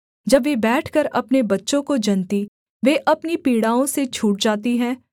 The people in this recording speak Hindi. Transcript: जब वे बैठकर अपने बच्चों को जनतीं वे अपनी पीड़ाओं से छूट जाती हैं